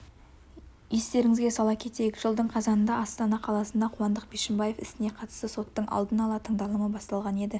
естеңізге сала кетейік жылдың қазанында астана қаласында қуандық бишімбаев ісіне қатысты соттың алдын ала тыңдалымы басталған еді